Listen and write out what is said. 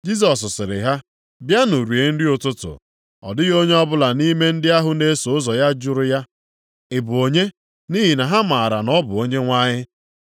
Jisọs sịrị ha, “Bịanụ rie nri ụtụtụ.” Ọ dịghị onye ọbụla nʼime ndị ahụ na-eso ụzọ ya jụrụ ya, “Ị bụ onye?” Nʼihi na ha maara na ọ bụ Onyenwe anyị.